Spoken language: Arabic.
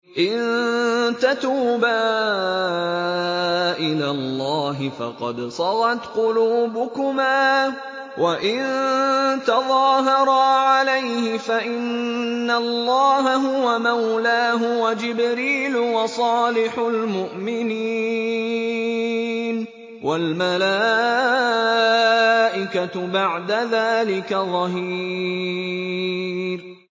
إِن تَتُوبَا إِلَى اللَّهِ فَقَدْ صَغَتْ قُلُوبُكُمَا ۖ وَإِن تَظَاهَرَا عَلَيْهِ فَإِنَّ اللَّهَ هُوَ مَوْلَاهُ وَجِبْرِيلُ وَصَالِحُ الْمُؤْمِنِينَ ۖ وَالْمَلَائِكَةُ بَعْدَ ذَٰلِكَ ظَهِيرٌ